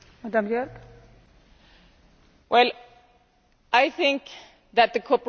I think that the cooperation between the different agencies is one thing.